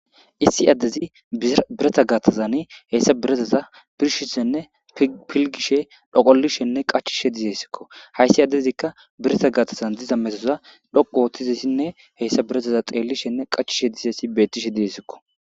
Issi ade hesa biraththa garsan he birataza birshishe nne pilgishe nne dhoqalishe nne qachishe dizaysako haysi adezika birata gaththan diza metoza dhuqu hesa birataza qachishenne dizaysa beses